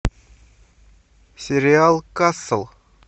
сериал касл